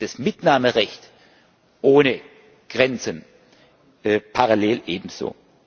das Mitnahmerecht ohne Grenzen parallel ebenso.